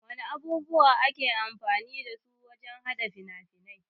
Wana abubuwa ake amfani dasu wajan haɗa fina-fiai?